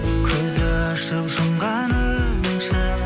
көзді ашып жұмғанымша